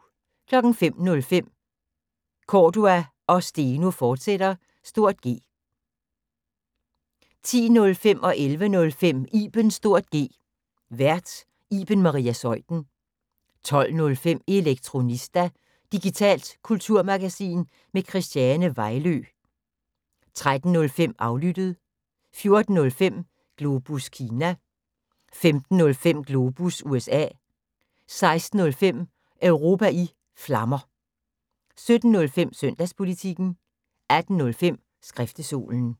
05:05: Cordua & Steno, fortsat (G) 10:05: Ibens (G) Vært: Iben Maria Zeuthen 11:05: Ibens (G) Vært: Iben Maria Zeuthen 12:05: Elektronista – digitalt kulturmagasin med Christiane Vejlø 13:05: Aflyttet 14:05: Globus Kina 15:05: Globus USA 16:05: Europa i Flammer 17:05: Søndagspolitikken 18:05: Skriftestolen